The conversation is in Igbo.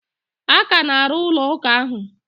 A ka na-arụ ụlọ ụka ahụ.